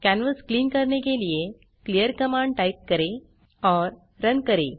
canvas clear करने के लिए क्लीयर कमांड टाइप करें और रन करें